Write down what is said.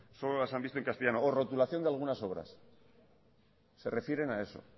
solo las han visto en castellano o rotulación de algunas obras se refieren a eso